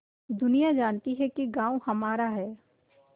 दुनिया जानती है कि गॉँव हमारा है